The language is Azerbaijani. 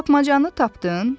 Tapmacanı tapdın?